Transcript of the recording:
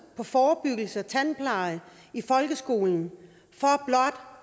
på forebyggelse og tandpleje i folkeskolen